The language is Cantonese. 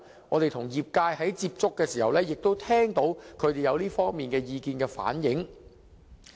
我們與業界接觸時，亦聽到他們反映這方面的意見。